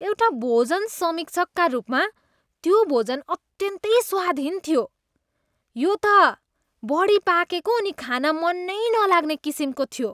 एउटा भोजन समीक्षकका रूपमा, त्यो भोजन अत्यन्तै स्वादहीन थियो। यो त बढी पाकेको अनि खान मन नै नलाग्ने किसिमको थियो।